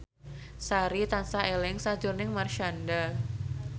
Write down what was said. Sari tansah eling sakjroning Marshanda